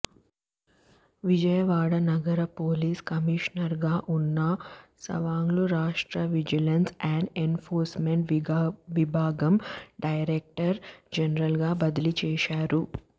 విజయవాడ నగర పోలీస్ కమిషనర్గా ఉన్న సవాంగ్ను రాష్ట్ర విజిలెన్స్ అండ్ ఎన్ఫోర్స్మెంట్ విభాగం డైరెక్టర్ జనరల్గా బదిలీ చేశారు